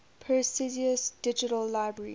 perseus digital library